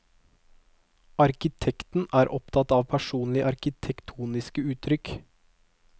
Arkitekten er opptatt av personlige arkitektoniske uttrykk.